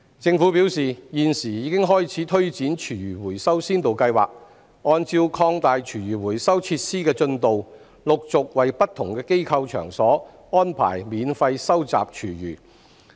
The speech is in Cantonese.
政府表示，現時已經開始推展廚餘回收先導計劃，按照擴大廚餘回收設施的進度，陸續為不同機構場所安排免費收集廚餘。